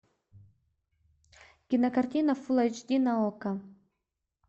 кинокартина фул эйч ди на окко